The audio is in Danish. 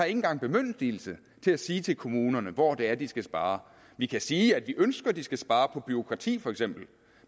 engang bemyndigelse til at sige til kommunerne hvor det er de skal spare vi kan sige vi ønsker at de skal spare på bureaukrati feks